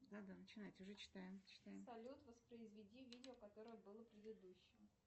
салют воспроизведи видео которое было предыдущим